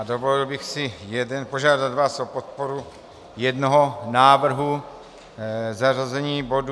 A dovolil bych si požádat vás o podporu jednoho návrhu zařazení bodu.